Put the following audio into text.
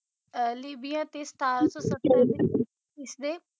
ਲਿਵਿਆ ਤੇ ਸਤਾਰਾਂ ਸੌ ਸੱਤਰ ਵਿੱਚ ਇਸਦੇ